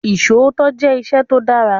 Isòótọ́ jẹ́ ìṣẹ tó dára.